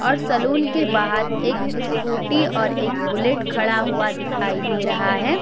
और सलून के बाहर एक स्कूटी और एक बुलेट खड़ा हुआ दिखाई दे रहा है।